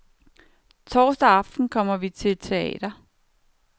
Torsdag aften kom vi til teater.